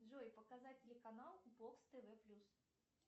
джой показать телеканал бокс тв плюс